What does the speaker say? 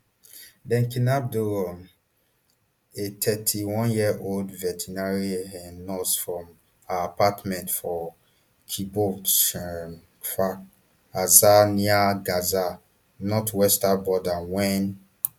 dem kidnap doron a thirty-oneyearold veterinary um nurse from her apartment for kibbutz um kfar aza near gaza northwestern border wen